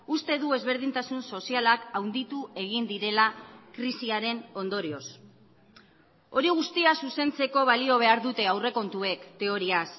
uste du ezberdintasun sozialak handitu egin direla krisiaren ondorioz hori guztia zuzentzeko balio behar dute aurrekontuek teoriaz